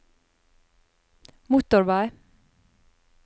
motorvei